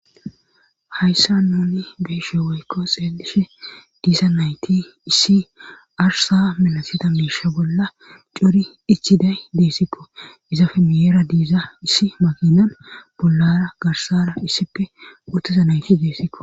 hayssa nuni beeshe weykko xeelishe diiza nayti issi arsa minasida miisha bolla cori ichiday deessikko izafe miyera diiza issi makinan bollara garsara issippe uttiza nayti deessikko.